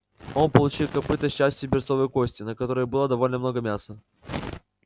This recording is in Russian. он получил копыто с частью берцовой кости на которой было довольно много мяса